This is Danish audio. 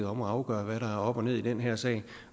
om at afgøre hvad der er op og ned i den her sag